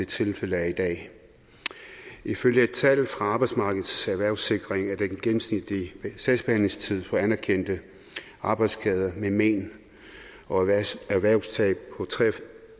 tilfældet er i dag ifølge et tal fra arbejdsmarkedets erhvervssikring er den gennemsnitlige sagsbehandlingstid for anerkendte arbejdsskader med men og erhvervstab på